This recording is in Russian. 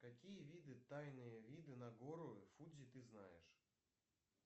какие виды тайные виды на гору фудзи ты знаешь